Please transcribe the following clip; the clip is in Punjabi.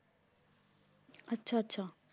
ਆਚਾ ਆਚਾ